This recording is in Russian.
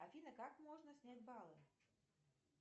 афина как можно снять баллы